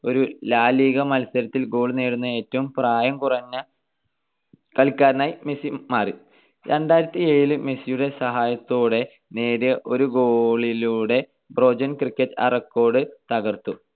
ഒരു La Liga മത്സരത്തിൽ goal നേടുന്ന ഏറ്റവും പ്രായം കുറഞ്ഞ കളിക്കാരനായി മെസ്സി മാറി. മെസ്സിയുടെ സഹായത്തോടെ നേടിയ ഒരു goal ലൂടെ ബോജൻ ക്രികിച് ആ record തകർത്തു.